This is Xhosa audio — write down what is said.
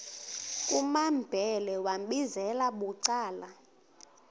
kumambhele wambizela bucala